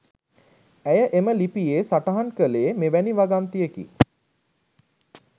ඇය එම ලිපියේ සටහන් කලේ මෙවැනි වගන්තියෙකි.